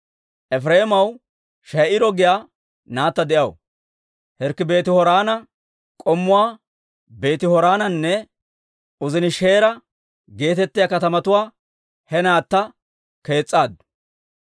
Efireemaw She'iiro giyaa naatta de'aw; Hirkki Beeti-Horoona, K'ommuwaa Beeti-Horoonanne Uzenishe'iira geetettiyaa katamatuwaa he naatta kees's'aaddu.